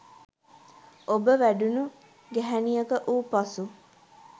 ඔබ වැඩුණු ගැහැණියක වූ පසු